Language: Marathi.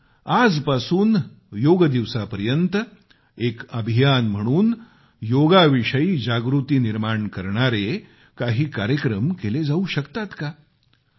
पण आजपासून योगदिवसापर्यत एक अभियान म्हणून योगाविषयी जागृती निर्माण करणारे काही कार्यक्रम केले जाऊ शकतात का